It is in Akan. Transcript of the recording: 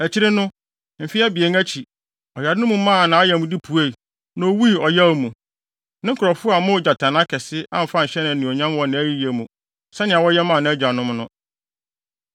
Akyiri no, mfe abien akyi, ɔyare no maa nʼayamde puei, na owui ɔyaw mu. Ne nkurɔfo ammɔ ogyatannaa kɛse, amfa anhyɛ no anuonyam wɔ nʼayiyɛ mu sɛnea wɔyɛ maa nʼagyanom no.